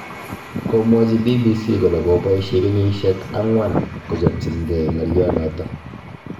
Komwachi BBC kole koboishe kenyishel ang'wan kochopchingei ng'alionoto